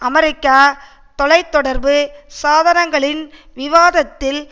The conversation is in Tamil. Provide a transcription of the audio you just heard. அமெரிக்க தொலை தொடர்பு சாதனங்களின் விவாதத்தில்